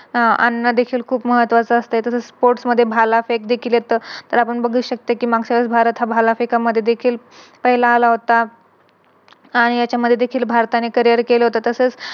आह आणण देखील खूप महत्वाचं असते. तसच Sports मध्ये भालाफेक देखील येत. बघू शकतो कि मागच्या वेळेस भारत हा भालाफेका मध्ये देखील पहिला आला होता आणि यांच्यामध्ये देखील भारताने केले होत